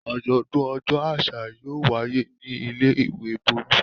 Àjọ̀dún ọjọ́ àṣà yóò wáyé ní ilé-ìwé Bólú.